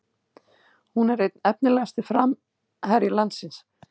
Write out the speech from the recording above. Hún er einn efnilegasti framherji landsins